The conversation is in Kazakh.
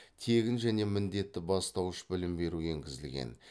тегін және міндетті бастауыш білім беру енгізілген